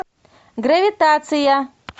гравитация